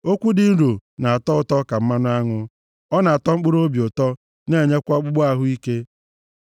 Okwu dị nro na-atọ ụtọ ka mmanụ aṅụ, ọ na-atọ mkpụrụobi ụtọ, na-enyekwa ọkpụkpụ ahụ ike.